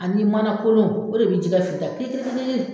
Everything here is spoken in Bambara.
Ani mana kolon o de bi jɛgɛ fin tan kiri kiri kiri